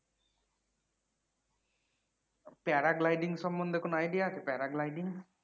para gliding সম্বন্ধে কোনও idea আছে para glyding?